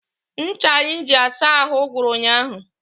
Ncha anyị ji asa ahụ gwụrụ ụnyaahụ.